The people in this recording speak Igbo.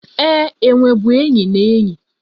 Ee, enwe bụ enyi na enyi